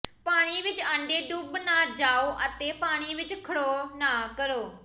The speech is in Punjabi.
ਪਾਣੀ ਵਿੱਚ ਆਂਡੇ ਡੁੱਬ ਨਾ ਜਾਓ ਜਾਂ ਪਾਣੀ ਵਿੱਚ ਖੜੋ ਨਾ ਕਰੋ